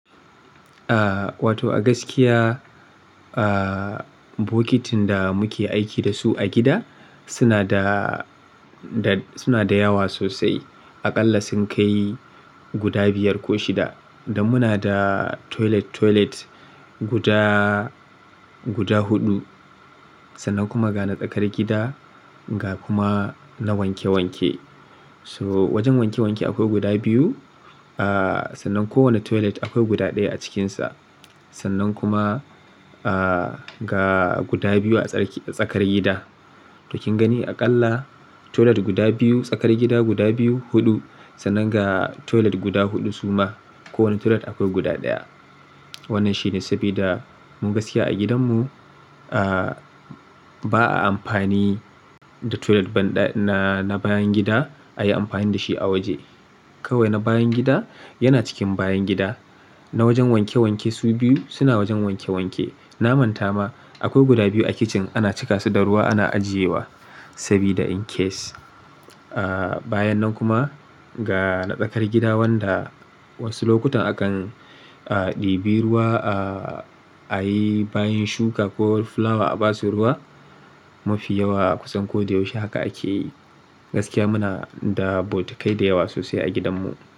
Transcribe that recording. Wato a gaskiya, bokitin da muke aiki da su a gida suna da, suna da yawa sosai. Aƙalla sun kai guda biyar ko shida. Dan muna da toilet toilet guda, guda huɗu. Sannan kuma ga na tsakar gida, ga kuma na wanke wanke. So wajen wanke wanke akwai guda biyu. Aa sannan kowane toilet akwai guda ɗaya a cikinsa. Sannan kuma aa ga guda biyu a tsakar gida. To kin gani aƙalla toilet guda biyu, tsakar gida guda biyu, huɗu. Sannan ga toilet guda huɗu suma. Kowane toilet akwai guda ɗaya. Wannan shine sabida mu gaskiya a gidan mu ba a amfani da toilet na bayan gida ayi amfani dashi a waje. Kawai na bayan gida yana cikin bayan gida. Na wajen wanke wanke su biyu suna wajen wanke wanke. Na manta ma akwai guda biyu a kicin ana cika su da ruwa ana ajiyewa sabida in case. Bayan nan kuma ga na tsakar gida wanda wasu lokutan akan ɗibi ruwa ayi bayin shuka ko fulawa a basu ruwa. Mafi yawa a kusan ko da yaushe haka akeyi. Gaskiya muna da botukai da yawa sosai a gidan mu.